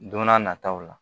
Don n'a nataw la